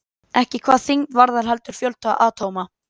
Ekki hvað þyngd varðar heldur fjölda atóma?